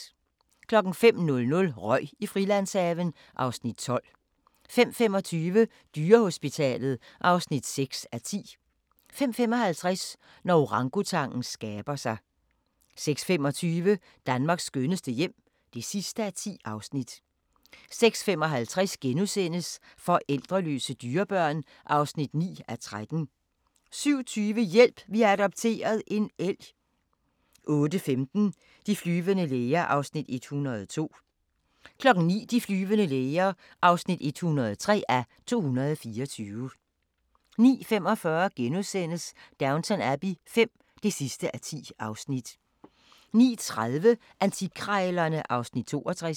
05:00: Røg i Frilandshaven (Afs. 12) 05:25: Dyrehospitalet (6:10) 05:55: Når orangutangen skaber sig 06:25: Danmarks skønneste hjem (10:10) 06:55: Forældreløse dyrebørn (9:13)* 07:20: Hjælp! Vi har adopteret – en elg 08:15: De flyvende læger (102:224) 09:00: De flyvende læger (103:224) 09:45: Downton Abbey V (10:10)* 10:30: Antikkrejlerne (Afs. 62)